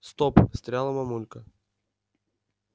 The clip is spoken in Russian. стоп встряла мамулька